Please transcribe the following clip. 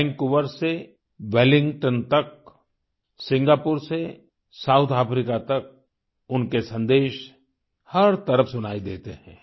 Vancouver से Wellington तक Singapore से साउथ अफ्रीका तक उनके संदेश हर तरफ सुनाई देते हैं